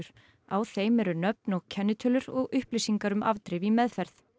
á þeim eru nöfn og kennitölur og upplýsingar um afdrif í meðferð